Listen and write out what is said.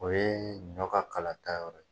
O ye ɲɔ ka kala ta yɔrɔ ye.